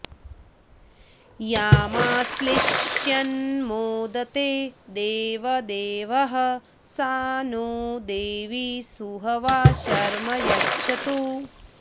यामाश्लिष्यन्मोदते देवदेवः सा नो देवी सुहवा शर्म यच्छतु